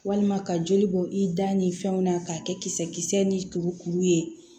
Walima ka joli bɔ i da ni fɛnw na k'a kɛ kisɛ kisɛ ni kuru kuru ye